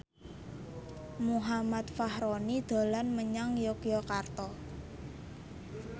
Muhammad Fachroni dolan menyang Yogyakarta